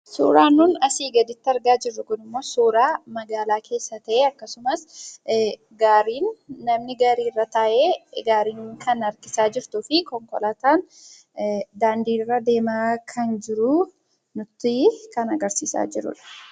Suuraan nuti asii gaditti argaa jirru kunimmoo suuraa magaalaa keessa ta'ee akkasumas namni gaariirra taa'ee kan harkisaa jiruu fi konkolaataan daandiirra deemaa kan jiru kan ta'e kan agarsiisaa jirudha.